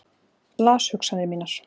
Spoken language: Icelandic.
Las hugsanir mínar.